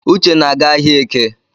Uche na-aga ahịaeke